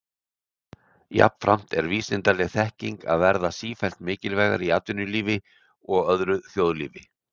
Jafnframt er vísindaleg þekking að verða sífellt mikilvægari í atvinnulífi og öðru þjóðlífi.